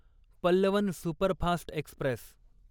Pallavan superfast Express